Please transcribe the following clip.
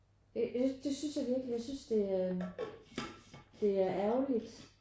Jeg synes det synes er virkelig jeg synes det det er ærgerligt